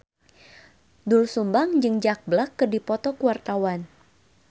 Doel Sumbang jeung Jack Black keur dipoto ku wartawan